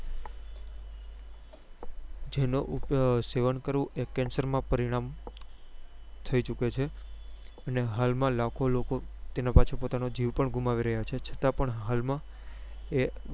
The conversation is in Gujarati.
જેનું સેવન કરવું એ cancer માં પરિણા થઇ ચુકે છે અને હાલ માં લાખો લોકો તેના પાછળ પોતાનો જીવ ગુમાવી રહ્યા છે છતાં પણ હાલ માં એ